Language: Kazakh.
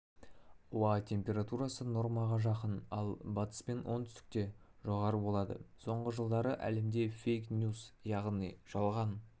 ауа температурасы нормаға жақын ал батыс пен оңтүстікте жоғары болады соңғы жылдары әлемде фейк-ньюс яғни жалған